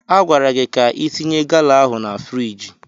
Agwara gị ka itinye gala ahụ na friiji!